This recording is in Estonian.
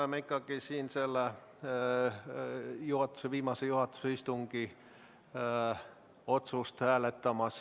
Me ikkagi hääletame siin viimase juhatuse istungi otsust.